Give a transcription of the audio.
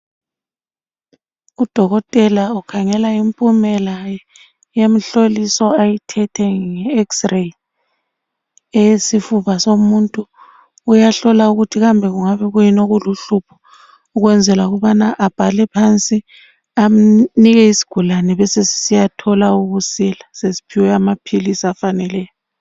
Udokotela ukhangela impumela yomhloliso ayithethe nge x-ray eyesifuba somuntu. Uyahlola ukuthi kambe kungabe kuyini okuluhlupho ukwenzela ukubana abhale phansi anike isigulane besesisiyathola ukusila sesithole amaphilisi afaneleyo.